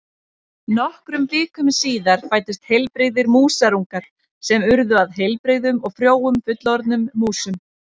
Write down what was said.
Nokkrum vikum síðar fæddust heilbrigðir músarungar sem urðu að heilbrigðum og frjóum fullorðnum músum.